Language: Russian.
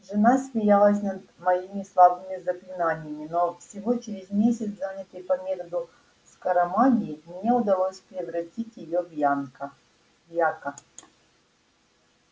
жена смеялась над моими слабыми заклинаниями но всего через месяц занятий по методу скоромагии мне удалось превратить её в ямка яка